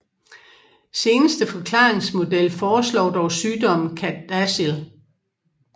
Seneste forklaringsmodel foreslår dog sygdommen CADASIL